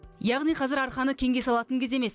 яғни қазір арқаны кеңге салатын кез емес